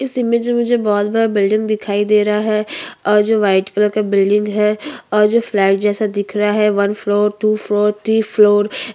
इस इमेज में मुझे बहोत बड़ा बिल्डिंग दिखाई दे रहा है और जो व्हाइट कलर का बिल्डिंग है और जो फ्लॅग जैसा दिख रहा है one floor two floor three floor